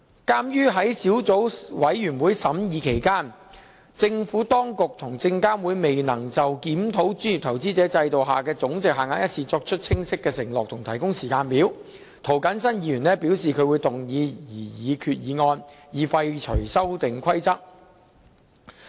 鑒於在小組委員會審議期間，政府當局及證監會未能就檢討專業投資者制度下的總值限額一事作出清晰承諾及提供時間表，涂謹申議員表示他會動議擬議決議案，以廢除《修訂規則》。